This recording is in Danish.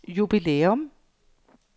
jubilæum